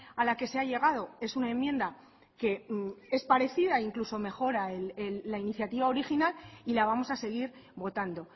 a la que se ha llegado es una enmienda que es parecida e incluso mejora la iniciativa original y la vamos a seguir votando